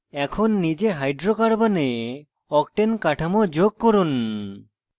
এখন নিজে hydrocarbons octane কাঠামো যোগ করুন